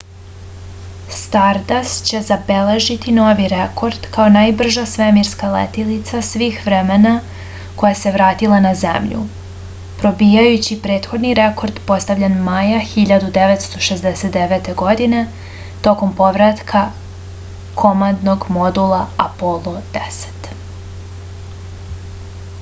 stardast će zabeležiti novi rekord kao najbrža svemirska letilica svih vremena koja se vratila na zemlju probijajući prethodni rekord postavljen maja 1969. godine tokom povratka komandnog modula apolo x